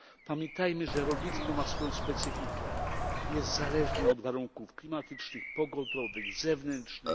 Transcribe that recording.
Pamiętajmy, że rolnictwo ma swoją specyfikę jest zależne od warunków klimatycznych, pogodowych, zewnętrznych.